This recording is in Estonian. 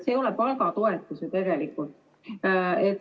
See ei ole ju tegelikult palgatoetus.